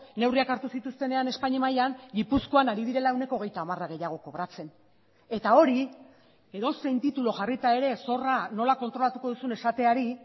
neurriak hartu zituztenean espainia mailan gipuzkoan ari direla ehuneko hogeita hamar gehiago kobratzen eta hori edozein titulu jarrita ere zorra nola kontrolatuko duzun esateari